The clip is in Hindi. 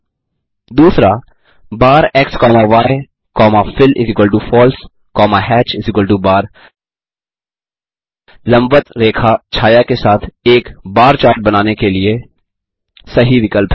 2बार x comma y comma fillFalse comma hatchbar लंबवत्त रेखाछाया के साथ एक बार चार्ट बनाने के लिए सही विकल्प है